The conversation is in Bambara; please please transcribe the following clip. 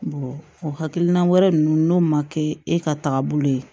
o hakilina wɛrɛ ninnu n'o ma kɛ e ka taagabolo ye